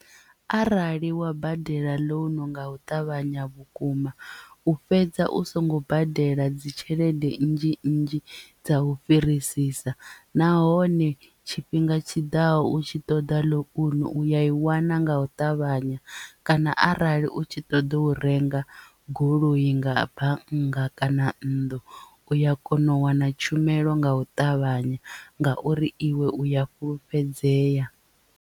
Arali wa badela ḽounu nga u ṱavhanya vhukuma u fhedza u songo badela dzi tshelede nnzhi nnzhi dza u fhirisisa nahone tshifhinga tshiḓaho u tshi ṱoḓa ḽounu u ya i wana nga u ṱavhanya kana arali u tshi ṱoḓa u renga goloi nga bannga kana nnḓu uya kona u wana tshumelo nga u ṱavhanya ngauri iwe u ya fhulufhedzea.